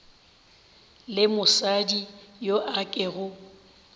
le mosadi yo a kego